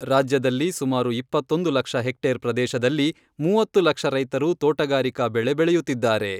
ರಾಜ್ಯದಲ್ಲಿ ಸುಮಾರು ಇಪ್ಪತ್ತೊಂದು ಲಕ್ಷ ಹೆಕ್ಟೇರ್ ಪ್ರದೇಶದಲ್ಲಿ, ಮೂವತ್ತು ಲಕ್ಷ ರೈತರು ತೋಟಗಾರಿಕಾ ಬೆಳೆ ಬೆಳೆಯುತ್ತಿದ್ದಾರೆ.